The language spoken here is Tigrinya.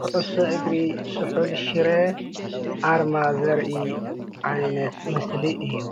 ኩዕሶ እግሪ ስሑል ሽረ ኣርማ ዘርኢ ዓይነት ምስሊ እዩ፡፡